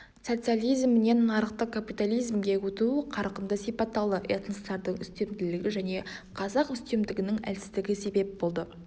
социализмінен нарықтық капитализмге өту қарқынды сипатталды этностардың үстемділігі және қазақ үстемдігінің әлсіздігі себеп болды